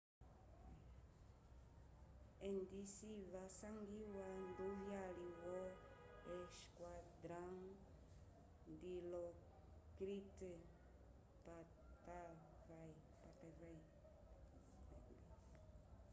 endisi wasangiwa nduvyali wo esquadrão dilokrit pattavee